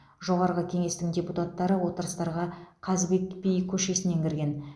жоғарғы кеңестің депутаттары отырыстарға қазыбек би көшесінен кірген